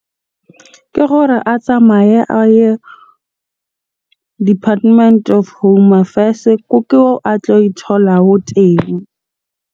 Ke gore a tsamaye a ye Department of Home Affairs-e. Ke koo a tlo e thola teng.